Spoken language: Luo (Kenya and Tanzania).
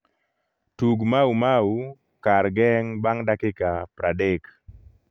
tug maumau kar geng bang dakika praadek